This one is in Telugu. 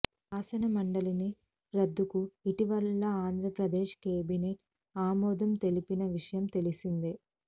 శాసనమండలిని రద్దుకు ఇటీవల ఆంధ్రప్రదేశ్ కేబినెట్ ఆమోదం తెలిపిన విషయం తెలిసిందే